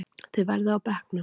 Þið verðið á bekknum!